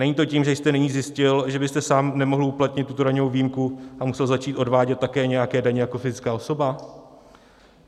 Není to tím, že jste nyní zjistil, že byste sám nemohl uplatnit tuto daňovou výjimku a musel začít odvádět také nějaké daně jako fyzická osoba?